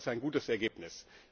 Es ist ein gutes Ergebnis.